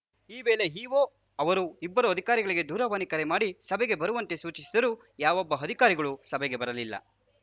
ಈ ವೇಳೆ ಇಒ ಅವರು ಇಬ್ಬರೂ ಅಧಿಕಾರಿಗಳಿಗೆ ದೂರವಾಣಿ ಕರೆ ಮಾಡಿ ಸಭೆಗೆ ಬರುವಂತೆ ಸೂಚಿಸಿದರೂ ಯಾವೊಬ್ಬ ಅಧಿಕಾರಿಗಳೂ ಸಭೆಗೆ ಬರಲಿಲ್ಲ